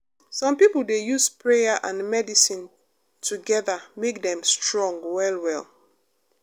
some people dey use prayer and medicine together make dem strong well well.